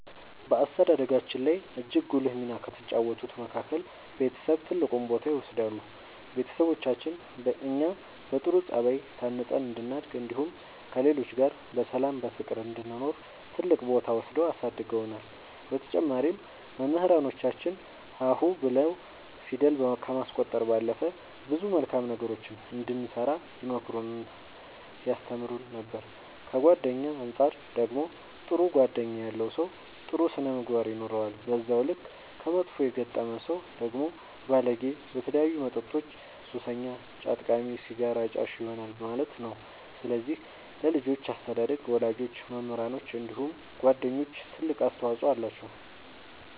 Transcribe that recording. በአስተዳደጋችን ላይ እጅግ ጉልህ ሚና ከተጫወቱት መካከል ቤተሰብ ትልቁን ቦታ ይወስዳሉ ቤተሰቦቻችን እኛ በጥሩ ጸባይ ታንጸን እንድናድግ እንዲሁም ከሌሎች ጋር በሰላም በፍቅር እንድንኖር ትልቅ ቦታ ወስደው አሳድገውናል በተጨማሪም መምህራኖቻችን ሀ ሁ ብለው ፊደል ከማስቆጠር ባለፈ ብዙ መልካም ነገሮችን እንድንሰራ ይመክሩን ያስተምሩን ነበር ከጓደኛ አንፃር ደግሞ ጥሩ ጓደኛ ያለው ሰው ጥሩ ስነ ምግባር ይኖረዋል በዛው ልክ ከመጥፎ የገጠመ ሰው ደግሞ ባለጌ በተለያዩ መጠጦች ሱሰኛ ጫት ቃሚ ሲጋራ አጫሽ ይሆናል ማለት ነው ስለዚህ ለልጆች አስተዳደግ ወላጆች መምህራኖች እንዲሁም ጓደኞች ትልቅ አስተዋፅኦ አላቸው።